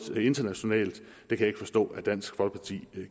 internationalt og jeg kan ikke forstå at dansk folkeparti